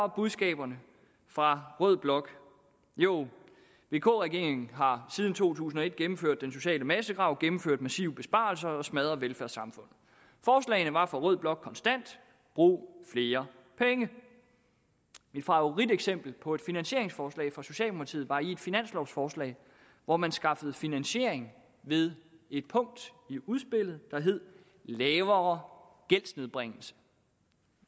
budskaberne fra rød blok jo vk regeringen har siden to tusind og et gennemført den sociale massegrav gennemført massive besparelser og smadret velfærdssamfundet forslagene var fra rød blok konstant brug flere penge mit favoriteksempel på et finansieringsforslag fra socialdemokratiet var i et finanslovforslag hvor man skaffede finansiering ved et punkt i udspillet der hed lavere gældsnedbringelse